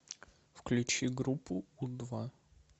включи группу у два